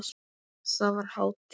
Þar var hátíð.